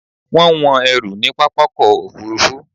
Wọ́n ń wọn ẹrù ní pápákọ̀-òfurufú